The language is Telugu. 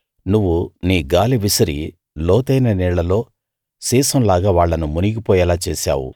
నువ్వు నీ గాలి విసిరి లోతైన నీళ్ళలో సీసం లాగా వాళ్ళను మునిగి పోయేలా చేశావు